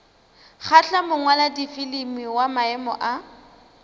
kgahla mongwaladifilimi wa maemo a